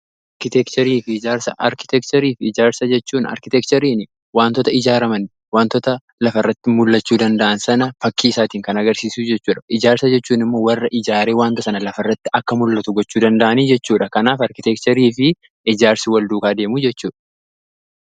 arkiteekcherii fi ijaarsa jechuun arkiteekcheriin wantoota ijaaraman wantoota lafa irratti mul'achuu danda'an sana fakkii isaatiin kan agarsiisuu jechuudha. Ijaarsa jechuun immoo warra ijaaree wanta sana lafa irratti akka mul'atu gochuu danda'anii jechuudha kanaaf arkiteekcherii fi ijaarsi wal duukaa adeemu jechuudha.